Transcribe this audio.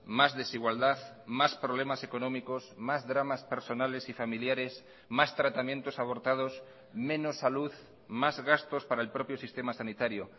más desigualdad más problemas económicos más dramas personales y familiares más tratamientos abortados menos salud más gastos para el propio sistema sanitario